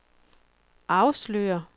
afslører